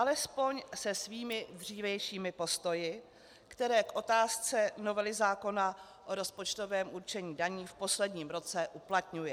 Alespoň se svými dřívějšími postoji, které k otázce novely zákona o rozpočtovém určení daní v posledním roce uplatňuje.